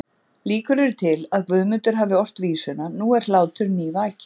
Líkur eru til að Guðmundur hafi ort vísuna Nú er hlátur nývakinn